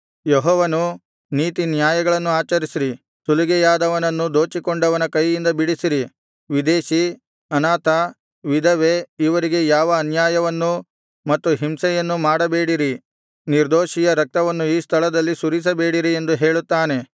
ಯೆಹೋವನು ನೀತಿ ನ್ಯಾಯಗಳನ್ನು ಆಚರಿಸಿರಿ ಸುಲಿಗೆಯಾದವನನ್ನು ದೋಚಿಕೊಂಡವನ ಕೈಯಿಂದ ಬಿಡಿಸಿರಿ ವಿದೇಶಿ ಅನಾಥ ವಿಧವೆ ಇವರಿಗೆ ಯಾವ ಅನ್ಯಾಯವನ್ನೂ ಮತ್ತು ಹಿಂಸೆಯನ್ನೂ ಮಾಡಬೇಡಿರಿ ನಿರ್ದೋಷಿಯ ರಕ್ತವನ್ನು ಈ ಸ್ಥಳದಲ್ಲಿ ಸುರಿಸಬೇಡಿರಿ ಎಂದು ಹೇಳುತ್ತಾನೆ